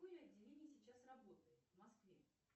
какое отделение сейчас работает в москве